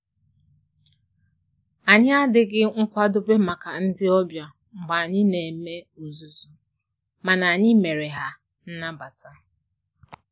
Anyị adịghị nkwadobe maka ndị ọbịa mgbe anyị na eme ozuzu, mana anyị mere ha nnabata